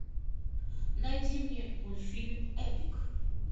найди мне мультфильм эпик